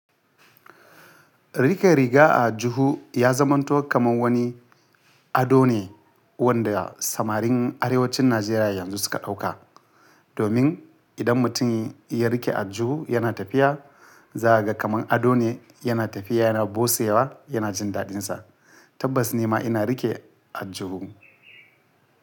Rike riga a juhu ya zamanto kamar wani ado ne wanda samarin arewacin Najeriya yanzu suka ɗauka, domin idan mutum ya rike aljuhu yana tafiya, za'a ga kamar ado ne. Yana tafiya yana bosewa, yana jin daɗinsa. Tabbas ni ma ina rike a juhu.